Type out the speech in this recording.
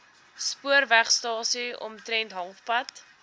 spoorwegstasie omtrent halfpad